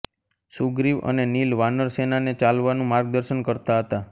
સુગ્રીવ અને નીલ વાનર સેના ને ચાલ્વાનું માર્ગ દર્શન કરતા હતા